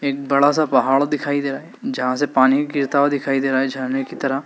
एक बड़ा सा पहाड़ दिखाई दे रहा है जहां से पानी गिरता हुआ दिखाई दे रहा है झारने की तरह--